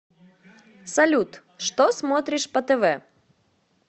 салют что смотришь по тв